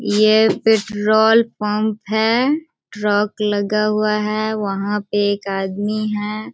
ये petrol pump है। Truck लगा हुआ है वहाँ पे एक आदमी है।